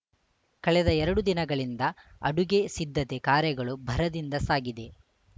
ಕಳೆದ ಎರಡು ದಿನಗಳಿಂದ ಅಡುಗೆ ಸಿದ್ಧತೆ ಕಾರ್ಯಗಳು ಭರದಿಂದ ಸಾಗಿದೆ